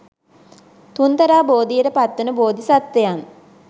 තුන්තරා බෝධියට පත්වන බෝධිසත්වයන්